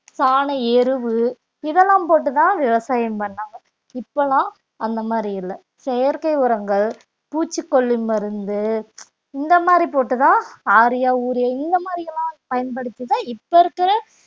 சாண எருவு இதெல்லாம் போட்டு தான் விவசாயம் பண்ணாங்க இப்பெல்லாம் அந்த மாதிரி இல்ல செயற்கை உரங்கள், பூச்சிக்கொல்லி மருந்து இந்த மாதிரி போட்டுத்தான் ஆரியா யூரியா இந்த மாதிரி எல்லாம் பயன்படுத்திதான் இப்ப இருக்கிற